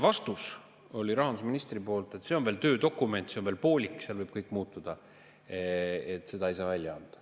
Vastus oli rahandusministril, et see on töödokument, see on veel poolik, seal võib kõik muutuda, seda ei saa välja anda.